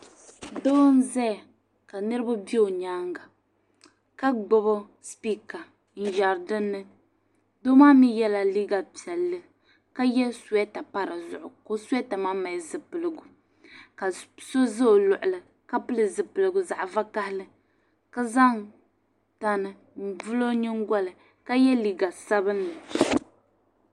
Doo n-zaya ka niriba be o nyaaŋga ka gbibi sipiika n-yɛri dinni. Doo maa mi yɛla liiga piɛlli ma ye suweeta pa di duɣu ka o suweeta maa mali zipiligu ka so za o luɣili ka pili zipiligu zaɣ' vakahili ka zaŋ tani n-vuli o nyiŋgoli ka ye liiga sabilinli.